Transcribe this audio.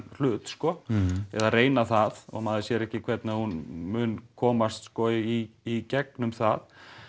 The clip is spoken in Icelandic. hlut eða reyna það og maður sér ekki hvernig að hún mun komast í gegnum það